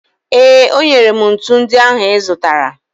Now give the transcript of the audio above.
Ee, o nyere m ntu ndị ahụ ị zụtara.